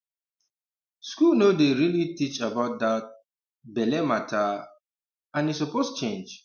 school no dey really teach about that um belle matter um and e suppose change